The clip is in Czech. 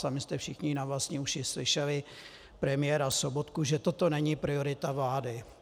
Sami jste všichni na vlastní uši slyšeli premiéra Sobotku, že toto není priorita vlády.